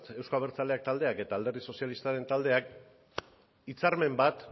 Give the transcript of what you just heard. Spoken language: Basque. euzko abertzaleak taldeak eta alderdi sozialistak taldeak hitzarmen bat